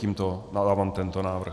Tímto dávám tento návrh.